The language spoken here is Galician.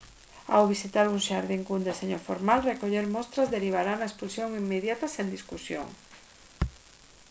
ao visitar un xardín cun deseño formal recoller «mostras» derivará na expulsión inmediata sen discusión